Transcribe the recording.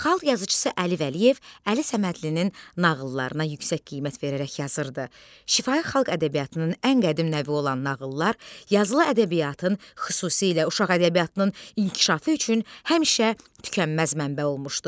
Xalq yazıçısı Əli Vəliyev Əli Səmədlilin nağıllarına yüksək qiymət verərək yazırdı: Şifahi xalq ədəbiyyatının ən qədim növü olan nağıllar, yazılı ədəbiyyatın, xüsusilə uşaq ədəbiyyatının inkişafı üçün həmişə tükənməz mənbə olmuşdu.